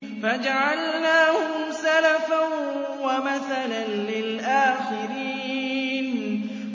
فَجَعَلْنَاهُمْ سَلَفًا وَمَثَلًا لِّلْآخِرِينَ